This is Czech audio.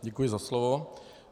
Děkuji za slovo.